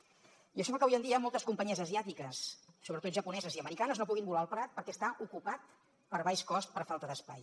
i això fa que avui en dia moltes companyies asiàtiques sobretot japoneses i americanes no puguin volar al prat perquè està ocupat per baix cost per falta d’espai